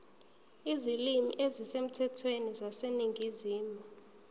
izilimi ezisemthethweni zaseningizimu